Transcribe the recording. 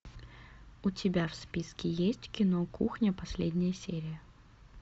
у тебя в списке есть кино кухня последняя серия